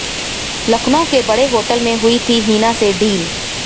लखनऊ के बड़े होटल में हुई थी हिना से डील